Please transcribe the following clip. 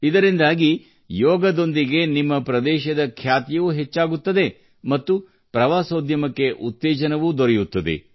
ಇದರಿಂದಾಗಿ ಯೋಗದೊಂದಿಗೆ ನಿಮ್ಮ ಪ್ರದೇಶದ ಖ್ಯಾತಿಯೂ ಹೆಚ್ಚಾಗುತ್ತದೆ ಮತ್ತು ಪ್ರವಾಸೋದ್ಯಮಕ್ಕೆ ಉತ್ತೇಜನವೂ ದೊರೆಯುತ್ತದೆ